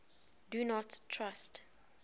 do not trust